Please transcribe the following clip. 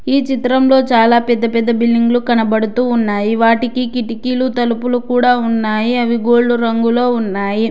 ఈ చిత్రంలో చాలా పెద్ద పెద్ద బిల్డింగులు కనబడుతూ ఉన్నాయి వాటికి కిటికీలు తలుపులు కూడా ఉన్నాయి అవి గోల్డ్ రంగులో ఉన్నాయి.